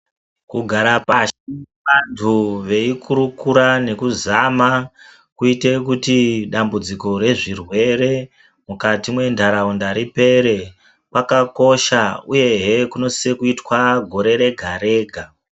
Kugara pashi vandu veikurukura nekuzama kuite kuti dambudziko rezvirwere mukati mendaraunda ripere kwakakosha uye hee kunese kuitwa gore rega rega.